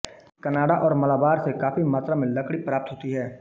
कनारा और मालाबार से काफी मात्रा में लकड़ी प्राप्त होती है